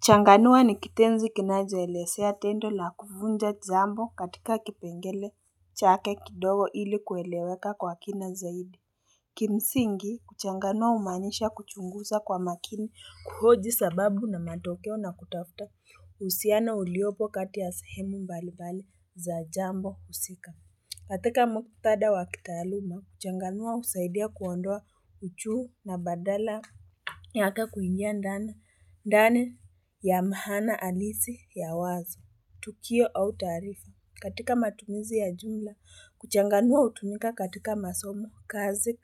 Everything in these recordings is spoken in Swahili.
Changanua ni kitenzi kinachoelezea tendo la kuvunja jambo katika kipengele chake kidogo ili kueleweka kwa kina zaidi Kimsingi kuchanganua humaanisha kuchunguza kwa makini kuhoji sababu na matokeo na kutafuta uhusiana uliopo kati ya sahemu mbalimbali za jambo husika. Katika mkutada wackitaaluma kuchanganua husaidia kuondoa uchuu na badala yake kuingia ndani ndani ya maana halisi ya wazo, tukio au taarifa. Katika matumizi ya jumla, kuchanganua hutumika katika masomo, kazi,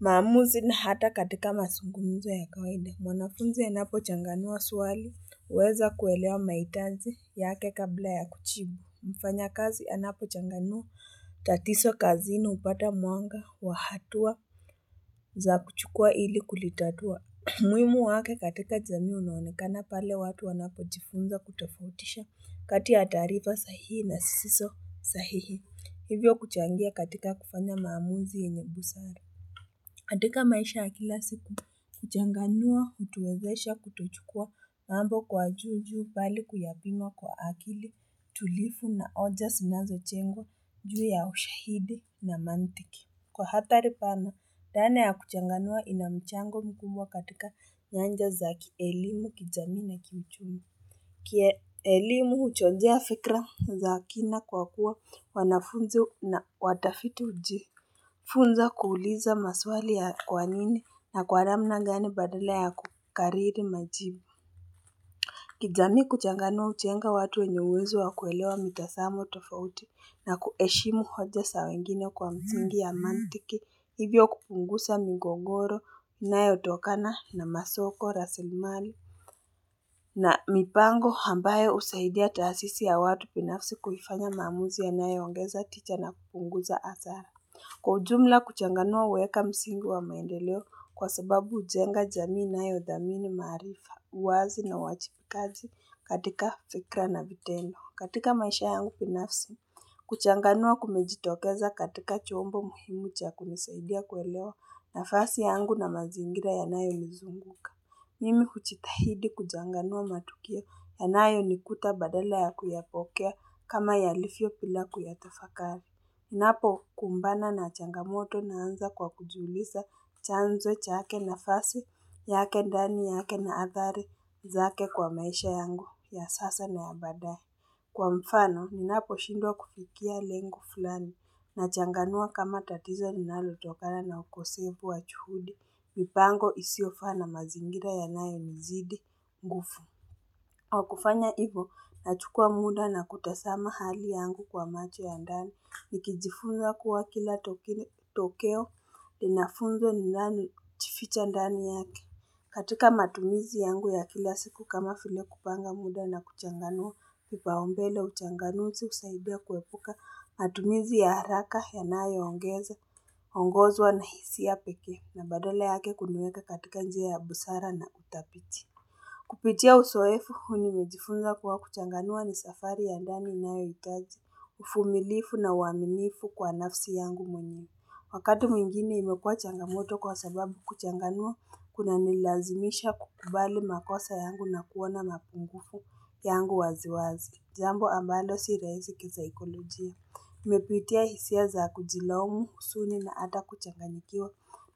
maamuzi na hata katika mazungumzo ya kawaida. Mwanafunzi anapo changanua swali, huweza kuelewa mahitaji yake kabla ya kujibu. Mfanya kazi ya napo changanua tatizo kazini hupata mwanga wa hatua za kuchukua ili kulitatua. Muhimu wake katika jamii unaonekana pale watu wanapo jifunza kutofautisha kati ya taarifa sahihi na zisizo sahihi. Hivyo kuchangia katika kufanya maamuzi yenye busara. Katika maisha ya kila siku, kuchanganua, hutuwezesha, kutochukua, mambo kwa juu juu, bali kuyapima kwa akili, tulivu na oja zinazo jengwa, juu ya ushahidi na mantiki. Kwa hatari pana, dhana ya kuchanganua ina mchango mkubwa katika nyanja za kielimu, kijamii na kiuchumi. Kielimu uchojea fikra za kina kwa kuwa wanafunzi na watafitu uji. Funza kuuliza maswali ya kwanini na kwa namna gani badala ya kukariri majibu. Kijamii kuchanganua hujenga watu wenye uwezo wakuelewa mitazamo tofauti na kuheshimu hoja zawengine kwa msingi ya mantiki. Hivyo kupunguza migogoro inayotokana na masoko rasilimali na mipango ambayo husaidia taasisi ya watu binafsi kuifanya maamuzi ya nayo ongeza tisha na kupunguza hasara. Kwa ujumla kuchanganua huweka msingi wa maendeleo kwa sababu hujenga jamii inayo dhami maarifa, uwazi na uwajibikaji katika fikra na vitendo. Katika maisha yangu binafsi, kuchanganua kumejitokeza katika chombo muhimu cha kunisaidia kuelewa nafasi yangu na mazingira yanayo nizunguka. Mimi kujitahidi kuchanganua matukio ya nayo nikuta badala ya kuyapokea kama yalivyo bila kuyatafakari. Ninapo kumbana na changamoto ninaanza kwa kujiuliza chanzo chake na fasi yake ndani yake na athari zake kwa maisha yangu ya sasa na ya baadae. Kwa mfano, minapo shindwa kufikia lengo fulani, na changanua kama tatizo ninalo tokana na ukosefu wa juhudi, mipango isiyofaa na mazingira yanayo nizidi nguvu. Kwa kufanya hivyo, nachukua muda na kutazama hali yangu kwa macho ya ndani. Nikijifunza kuwa kila tokeo, inafunzo ni yaani hujificha ndani yake. Katika matumizi yangu ya kila siku kama file kupanga muda na kuchanganua, kipaumbele uchanganuzi husaidia kuepuka matumizi ya haraka, yanayo ongeza, ongozwa nahisia pekee na badala yake kuniweka katika njia ya busara na utafiti. Kupitia uzoefu, huu nimejifunza kuwa kuchanganua ni safari ya ndani nayohitaji, uvumilivu na uaminifu kwa nafsi yangu mwenye. Wakati mwingine imekua changamoto kwa sababu kuchanganua, kunanilazimisha kukubali makosa yangu na kuona mapungufu yangu waziwazi. Jambo ambalo si rahisi kisaikolojia. Nimepitia hisia za kujilaumu, huzuni na hata kuchanganyikiwa.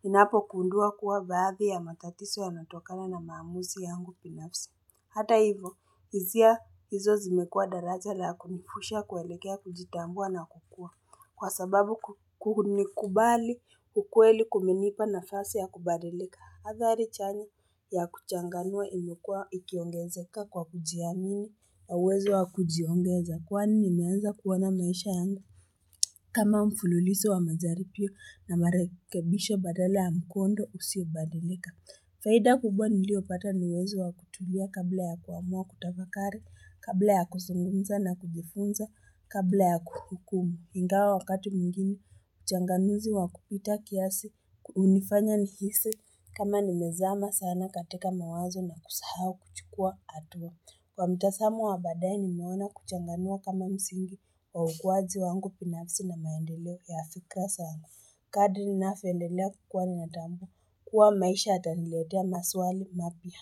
Ninapo gundua kuwa baadhi ya matatizo yanatokana na maamuzi yangu binafsi. Hata hivyo, hisia hizo zimekua daraja la kumfusha kuelekea kujitambua na kukua. Kwa sababu kunikubali ukweli kumenipa nafasi ya kubadilika. Hadhari chanya ya kuchanganua imekua ikiongezeka kwa kujiamini na uwezo wa kujiongeza kwani nimeanza kuona maisha yangu. Kama mfululizo wa majaribio na marekebisho badala ya mkondo usiyo badilika. Faida kubwa niliyo pata ni uwezo wa kutulia kabla ya kuamua kutafakari, kabla ya kuzungunza na kujifunza, kabla ya kuhukumu. Ingawa wakati mwigine, uchanganuzi wa kupita kiasi, hunifanya nihisi, kama ni mezama sana katika mawazo na kusahau kuchukua hatua. Kwa mtazamo wa baadae nimeona kuchanganua kama msingi wa ukuwaji wangu binafsi na maendeleo ya fikra sana. Kadri ninapendelea kuwa ninatambua kuwa maisha yataniletea maswali mapya.